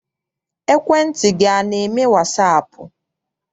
Ekwentị gị ana eme wasaapụ?